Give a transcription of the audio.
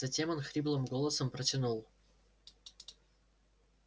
затем он хриплым голосом протянул